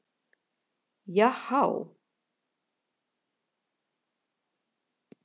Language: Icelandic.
Já há!